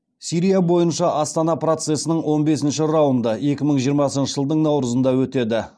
сирия бойынша астана процесінің он бесінші раунды екі мың жиырмасыншы жылдың наурызында өтеді